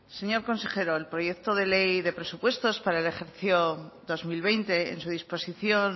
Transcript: señor consejero el proyecto de ley de presupuestos para el ejercicio dos mil veinte en su disposición